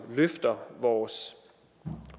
løfter vores